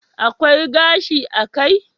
Akwai gashi a kai